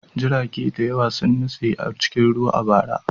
Jiragen ruwa da yawa sun nutse a cikin ruwa a bara.